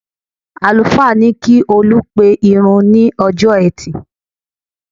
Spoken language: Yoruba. Àlùfáà ní kí Olú pe ìrun ní ọjọ́ ẹtì